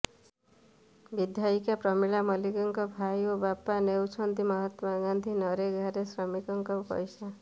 ବିଧାୟିକା ପ୍ରମିଳା ମଲ୍ଲିକଙ୍କ ଭାଇ ଓ ବାପା ନେଉଛନ୍ତି ମହାତ୍ମା ଗାନ୍ଧି ନରେଗାରେ ଶ୍ରମିକଙ୍କ ପଇସା